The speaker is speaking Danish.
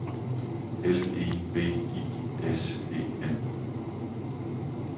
L E V I S E N